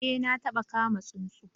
Ee na taba kama tsunsu